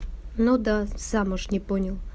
ну да замуж не понял